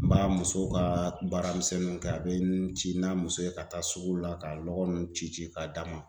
N b'a muso ka baara misɛnninw kɛ a be n ci n'a muso ye ka taa sugu la ka lɔgɔ nunnu ci ci k'a d'a ma.